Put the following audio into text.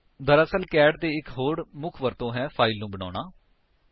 ਦਰਅਸਲ ਕੈਟ ਦੀ ਇੱਕ ਹੋਰ ਮੁੱਖ ਵਰਤੋ ਹੈ ਫਾਇਲ ਨੂੰ ਬਣਾਉਣਾ